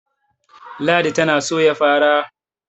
ladi tana Soya fara